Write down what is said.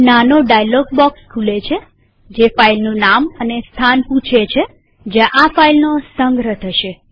એક નાનો dialog box ખુલે છે જે ફાઈલનું નામ અને સ્થાન પૂછે છે જ્યાં આ ફાઈલનો સંગ્રહ થશે